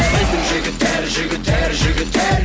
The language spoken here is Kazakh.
біздің жігіттер жігіттер жігіттер